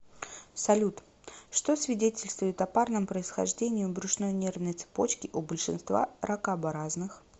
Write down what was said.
салют что свидетельствует о парном происхождении брюшной нервной цепочки у большинства ракообразных